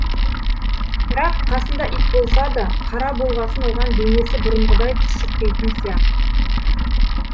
бірақ қасында ит болса да қара болғасын оған денесі бұрынғыдай түршікпейтін сияқты